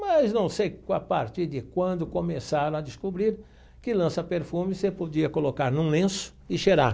Mas não sei a partir de quando começaram a descobrir que lança-perfume você podia colocar num lenço e cheirar.